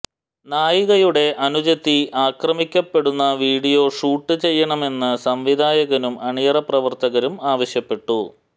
നായികയുടെ അനുജത്തി ആക്രമിക്കപ്പെടുന്ന വിഡിയോ ഷൂട്ട് ചെയ്യണമെന്ന് സംവിധായകനും അണിയറ പ്രവര്ത്തകരും ആവശ്യപ്പെട്ടു